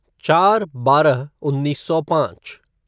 चार बारह उन्नीस सौ पाँच